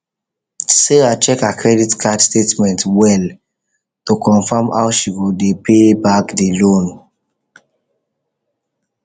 sarah check her credit card statement well to confirm how she go dey pay back the loan